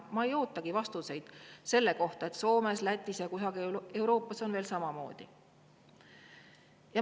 Ma ei oota vastuseid selle kohta, et Soomes, Lätis ja kusagil mujal Euroopas veel on samamoodi.